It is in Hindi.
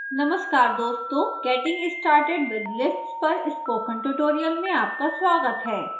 नमस्कार दोस्तों getting started with lists पर स्पोकन ट्यूटोरियल में आपका स्वागत है